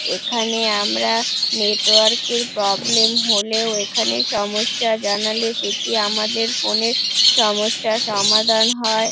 এখানে আমরা নেটওয়ার্ক এর প্রব্লেম হলেও এখানে সমস্যা জানালে সেটি আমাদের ফোন -এর সমস্যার সমাধান হয়।